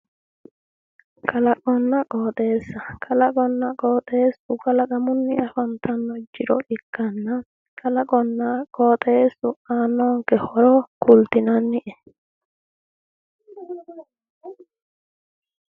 Kalaqinna qoxxeessu kalaqamunni afantanno jiro ikitanna kalaqinna qoxeessu aannonke horo kulitinannie